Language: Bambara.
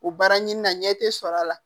O baara ɲini na ɲɛ tɛ sɔrɔ a la